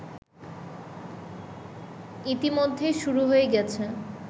ইতিমধ্যেই শুরু হয়ে গেছে